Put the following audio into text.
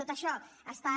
tot això estan